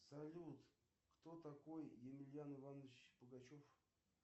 салют кто такой емельян иванович пугачев